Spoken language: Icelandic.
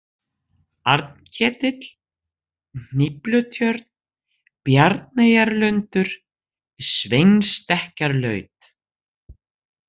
Arnketill, Hníflutjörn, Bjarneyjarlundur, Sveinsstekkjarlaut